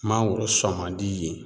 Mangoro sɔn man di yen